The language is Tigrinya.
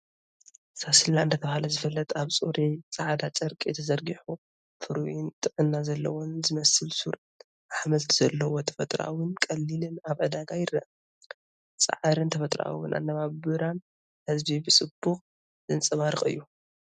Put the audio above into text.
ሳስላ እንዳተባህለ ዝፍለጥ ኣብ ጽሩይ ጻዕዳ ጨርቂ ተዘርጊሑ ፍሩይን ጥዕና ዘለዎን ዝመስል ሱር ኣሕምልቲ ዘለዎ ተፈጥሮኣውን ቀሊልን ኣብ ዕዳጋ ይረአ። ጻዕርን ተፈጥሮኣዊ ኣነባብራን ህዝቢ ብጽቡቕ ዘንጸባርቕ እዩ።